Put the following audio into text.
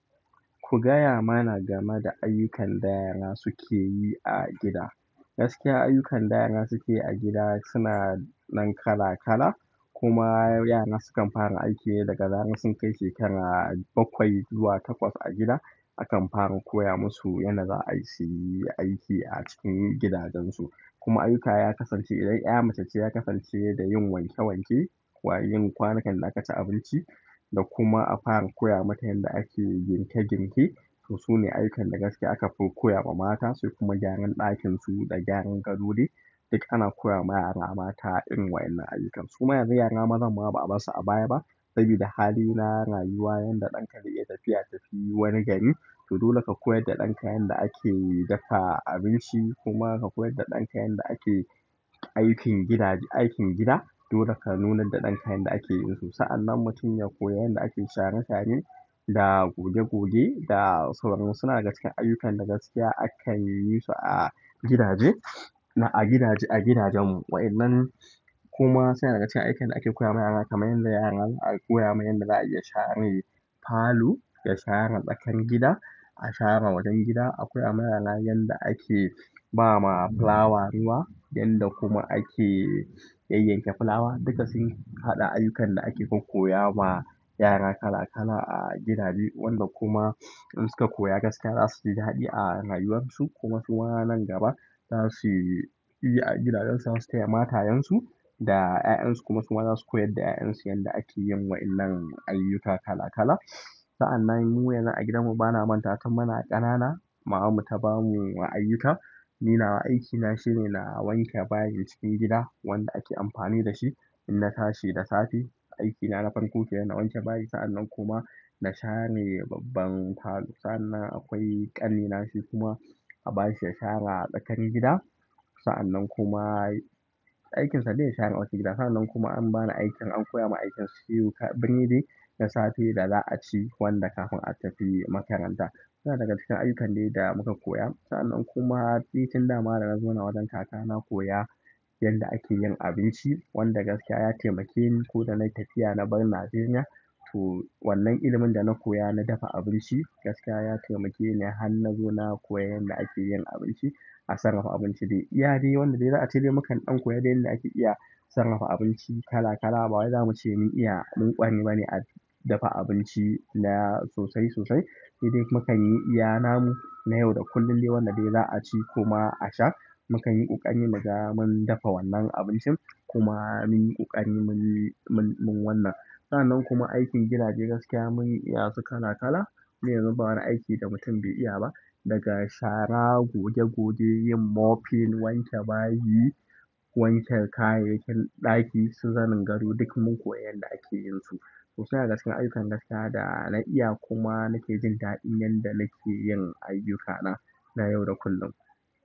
Ku gaya mana game da ayyukan da yara suke yi a gida. Gaskiya ayyukan da yara suke yi a gida suna nan kala kala. Kuma yara sukan fara aiki ne daga zaran sun kai shekara bakwai zuwa takwas a gida. Akan fara koya musu yanda zasu yi aiki a cikin gidajensu. Kuma ayyuka ya kasance idan 'ya mace ce ya kasance da yin wanke wanke, kuma yin kwanukan da aka ci abinci da kuma a fara koya mata yadda ake girke girke. To sune gaskiya ayyukan da akafi koyawa mata sai kuma gyaran ɗakin su da gyaran gado suma yara maza ba abar su abaya ba sabida hali na rayuwa yadda ɗan ka zai iya tafiya wani gari. To dole ka koyar da ɗanka yadda ake dafa abinci kuma ka koyar da ɗanka yadda ake aikin gida, aikin gida. Dole ka nuna da ɗanka yadda ake yin su. Sa'anan mutum ya koya yanda ake share share da goge goge da sauransu. Suna daga cikin ayyukan da gaskiya akan yisu a gidaje a gidajen mu wa'illan kuma suna daga cikin ayyukan da ake koya ma yara kamar yadda yaran aka koya ma yadda za a iya share falo da share tsakar gida, a share wajen gida. A koya ma yara yanda ake ba ma fulawa ruwa yanda kuma ake yayyanke fulawa. Duka sun haɗa ayyukan da ake koya ma yara kala kala a gidaje. Wanda kuma in suka koya gaskiya za su ji daɗi a rayuwar su. Kuma suma nan gaba za su yi a gidajen su, za su taya matayen su da 'ya'yan su. Kuma su ma za su koyar da 'ya'yan su yadda ake yin wa'illan ayyuka kala kala. Sa'an nan mu yanzu a gidan mu bana manta wa tun muna ƙanana mamar mu ta bamu ayyuka ni na wa aikin na shine na wanke bayin cikin gida wanda ake amfani da shi. Ina tashi da safe aikina na farko kenan na wanke bayi. Sa'anan kuma na share babban falo. Sa'anan akwai ƙannena shi kuma aka bashi ya share tsakar gida. Sa'anan kuma aikinsa de ya share masu gida. Sa'anan kuma an bani aikin an koya mun aikin siyo bene da safe da za a ci wanda kafin a tafi makaranta. Suna daga cikin ayyukan dai da muka koya. Sa'anan kuma nitin da dana zauna wajen kakana koya yadda ake yin abinci. Wanda gaskiya ya taimake ni ko da na yi tafiya na bar Najeriya. To wannan ilimin da na koya na dafa abinci gaskiya ya taimake ni har na zo na koya yadda ake yin abinci. A sarrafa abinci dai iyadai wanda dai za a ci de mukan ɗan koya dai yadda ake iya sarrafa abinci kala kala. Ba wai zamu ce mun iya mun ƙwari bane a dafa abinci na sosai sosai. Sai dai mu kan yi iyanamu na yau da kullum. Dai wanda dai za a ci kuma a sha. Mukan yi ƙokari muga mun dafa wannan abincin kuma munyi ƙoƙari munyi wannan. Sa'anan kuma aikin gidaje gaskiya mun yi iya su kala kala. Mu yanzu ba wani aiki da mutum bai iya ba. Daga share, goge goge, yin mopping, wanke bayi, wanke kayayyakin ɗaki su zanen gado duk mun koyi yadda ake yin su. To suna daga cikin ayyukan gaskiya da na iya kuma nake jin daɗin yadda nake yin ayyukana na yau da kullum.